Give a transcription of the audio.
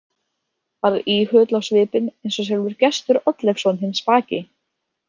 Varð íhugull á svipinn eins og sjálfur Gestur Oddleifsson hinn spaki.